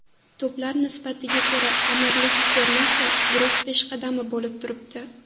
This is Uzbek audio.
To‘plar nisbatiga ko‘ra Amirlik termasi guruh peshqadami bo‘lib turibdi.